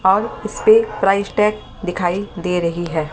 और इसपे price tag दिखाई दे रही है।